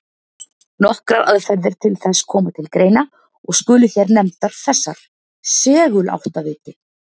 Nokkrar aðferðir til þess koma til greina og skulu hér nefndar þessar: Seguláttaviti.